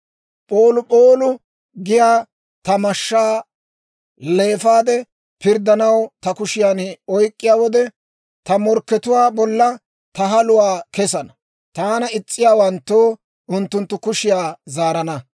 P'oolup'oolu giyaa ta mashshaa leefaade, pirddanaw ta kushiyan oyk'k'iyaa wode, ta morkkatuwaa bolla ta haluwaa kesana; taana is's'iyaawanttoo unttunttu kushiyaa zaarana.